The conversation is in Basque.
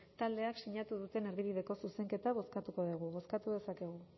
taldeek sinatu duten erdibideko zuzenketa bozkatuko dugu bozkatu dezakegu